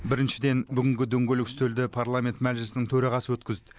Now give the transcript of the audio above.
біріншіден бүгінгі дөңгелек үстелді парламент мәжілісінің төрағасы өткізді